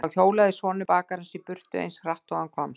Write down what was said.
Og þá hjólaði sonur bakarans í burtu, eins hratt og hann komst.